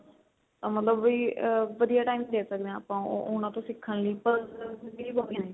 ਮਤਲਬ ਵੀ ਆ ਵਧੀਆ time ਦੇ ਸਕਦੇ ਆ ਆਪਾਂ ਉਹਨਾ ਤੋਂ ਸਿਖਣ ਲਈ puzzles ਵੀ ਹੋ ਗਈਆਂ ਨੇ